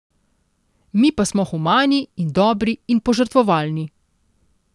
Mi pa smo humani in dobri in požrtvovalni.